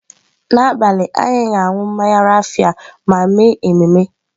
N'abalị, anyị ga-aṅụ mmanya raffia ma mee ememe.